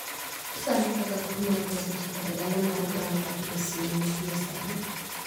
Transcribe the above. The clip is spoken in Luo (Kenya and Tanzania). Nyisa ane kaka kor lwasi chalo e dala mar Grand Rapids MI gie sani